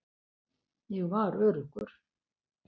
Ég var öruggur.